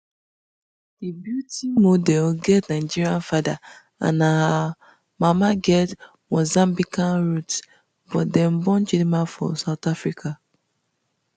di beauty model get nigerian father and her her mama get mozambican roots but dem born chidimma for south africa